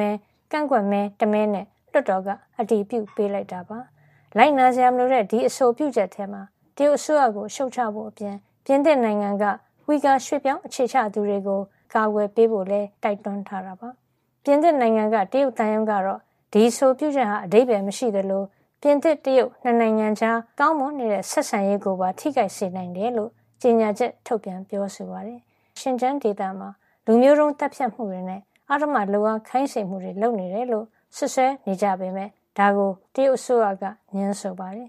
မဲ ကန့်ကွက်မဲ ၁ မဲနဲ့ လွှတ်တော်ကအတည်ပြုပေးလိုက်တာပါ။ လိုက်နာစရာ မလိုတဲ့ ဒီအဆိုပြုချက်ထဲမှာ တရုတ်အစိုးရကိ ု ရှုတ်ချဖို့အပြင် ပြင်သစ်နိုင်ငံက ဝှီဂါ ရွှေ့ပြောင်း အခြေချသူတွေကို တရုတ်အစိုးရရဲ့ အနှောက်အယှက်ပေးမှုကနေ အကာကွယ်ပေးဖို့လည်း ပြင်သစ်အစိုးရကို တိုက်တွန်းထားတာပါ။ ပြင်သစ်နိုင်ငံက တရုတ်သံရုံးကတော့ ဒီအဆိုပြုချက်ဟာ အဓိပ္ပါယ် မရှိသလို ပြင်သစ် - တရုတ် ၂ နိုင်ငံကြား ကောင်းမွန်နေတဲ့ဆက်ဆံရေးကိုပါထိခိုက်စေနိုင်တယ်လို့ကြေညာချက် ထုတ်ပြန်ပြောဆိုပါတယ်။ တရုတ်အစိုးရဟာ ဝှီဂါမွတ်စလင် အများအပြား နေထိုင်ရာ ရှင်ကျန်းဒေသမှာ လူမျိုးတုံး သတ်ဖြတ်မှုတွေနဲ့ အဓမ္မလုပ်အား ခိုင်းစေမှုတွေ ကျူးလွန်နေတယ်လို့ စွပ်စွဲနေကြပေမယ့် ဒါကို တရုတ်အစိုးရက ငြင်းဆိုပါတယ်